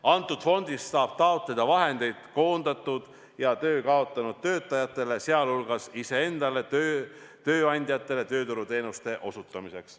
Antud fondist saab taotleda vahendeid koondatud ja töö kaotanud töötajatele, sh iseenda tööandjatele tööturuteenuste osutamiseks.